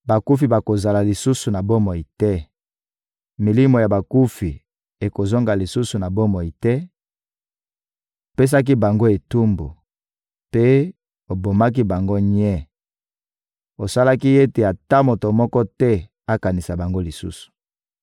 Bakufi bakozala lisusu na bomoi te, milimo ya bakufi ekozonga lisusu na bomoi te; opesaki bango etumbu mpe obomaki bango nye; osalaki ete ata moto moko te akanisa bango lisusu!